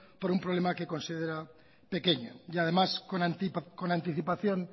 por un problema que considera pequeño y además con anticipación